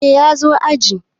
Eh ya zo aji.